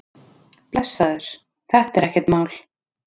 Blessaður, þetta er ekkert mál.